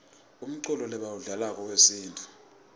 umculo lebawudlalako wesintfu